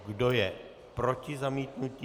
Kdo je proti zamítnutí?